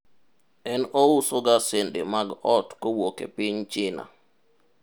en ousoga sende mag ot kowuok e piny China